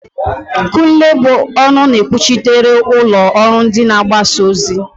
Kunle bụ ọnụ na-ekwuchitere ụlọ ọrụ mgbasa ozi.